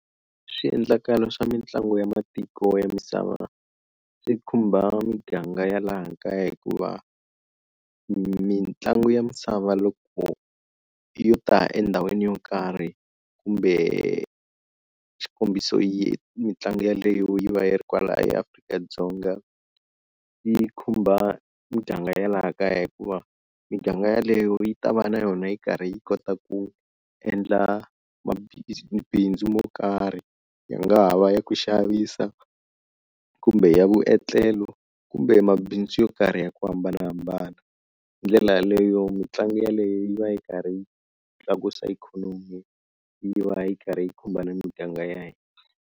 Swiendlakalo swa mitlangu ya matiko ya misava swi khumba muganga ya laha kaya hikuva mitlangu ya misava loko yo ta endhawini yo karhi kumbe xikombiso yi mitlangu yeleyo yi va yi ri kwala eAfrika-Dzonga yi khumba muganga ya laha kaya hikuva miganga yaleyo yi ta va na yona yi karhi yi kota ku endla mabindzu mo karhi yi nga ha va ya ku xavisa kumbe ya vuetlelo kumbe mabindzu yo karhi ya ku hambanahambana. Hi ndlela yaleyo mitlangu yeleyo yi va yi karhi yi tlakusa ikhonomi yi va yi karhi yi khumba na miganga ya hina.